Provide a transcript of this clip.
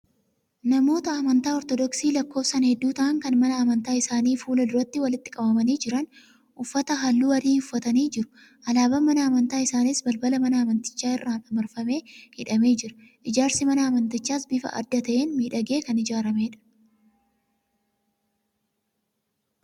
Namoota amantaa Ortodoksii lakkoofsaan hedduu ta'an, kan mana amantaa isaanii fuula duratti walitti qabamanii jiran. Uffata halluu adii uffatanii jiru. Alaabaan mana amantaa isaaniis balbala mana amantichaa irraan marfamee hidhamee jira. Ijaarsi mana amantichaas bifa adda ta'een miidhagee kan ijaaramedha.